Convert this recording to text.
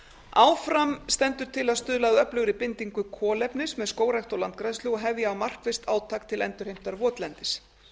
áfram stendur til að stuðla að öflugri bindingu kolefnis með skógrækt og landgræðslu og hefja á markvisst átak til endurheimtar votlendis